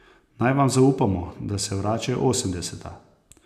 Naj vam zaupamo, da se vračajo osemdeseta!